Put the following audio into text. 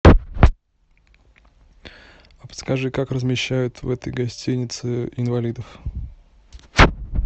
подскажи как размещают в этой гостинице инвалидов